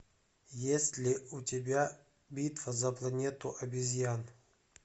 есть ли у тебя битва за планету обезьян